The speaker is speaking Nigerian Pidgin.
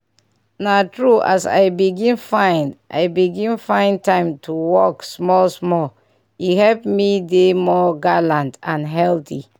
na true as i begin find i begin find time to waka small small e help me dey more gallant and healthy.